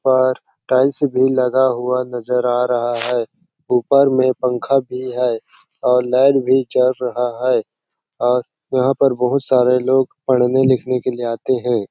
ऊपर टाइल्स भी लगा हुआ नज़र आ रहा है ऊपर में पंखा भी है लाइट भी चल रहा है और यहाँ पर बहुत सारे लोग पढ़ने-लिखने के लिए आते है।